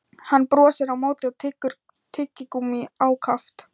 Hann brosir á móti og tyggur tyggigúmmí ákaft.